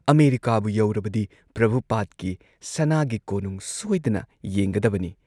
ꯑꯃꯦꯔꯤꯀꯥꯕꯨ ꯌꯧꯔꯕꯗꯤ ꯄ꯭ꯔꯚꯨꯄꯥꯗꯀꯤ ꯁꯅꯥꯒꯤ ꯀꯣꯅꯨꯡ ꯁꯣꯏꯗꯅ ꯌꯦꯡꯒꯗꯕꯅꯤ ꯫